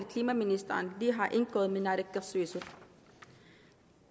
klimaministeren lige har indgået med naalakkersuitsut